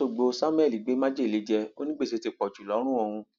lọṣọgbó samuel gbé májèlé jẹ ó ní gbèsè ti pọ jù lọrùn òun